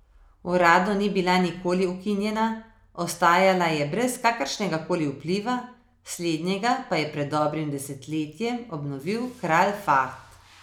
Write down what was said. Uradno ni bila nikoli ukinjena, ostajala je brez kakršnega koli vpliva, slednjega pa je pred dobrim desetletjem obnovil kralj Fahd.